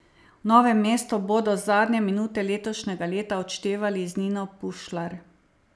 V Novem mestu bodo zadnje minute letošnjega leta odštevali z Nino Pušlar.